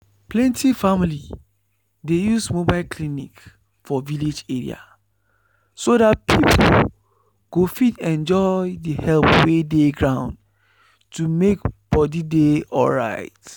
plenty family dey use mobile clinic for village area so that people go fit enjoy the help wey dey ground to make body dey alright.